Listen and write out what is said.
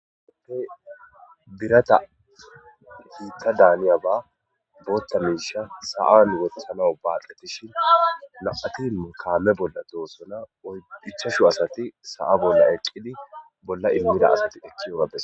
oppey birata hiita daaniya ba bootta miisha sa7an wotasanaw baaqqetishin laphatin mukaame bolla tohosona oydhichashu asati sa7a bolla eqqidi bolla immida asati ekkiyogapbes